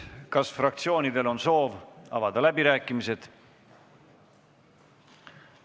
Kas fraktsioonidel on soov avada läbirääkimised?